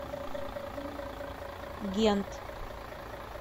гент